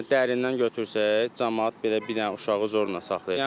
Yəni dərindən götürsək, camaat belə bir dənə uşağı zorla saxlayır.